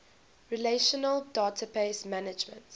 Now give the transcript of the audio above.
relational database management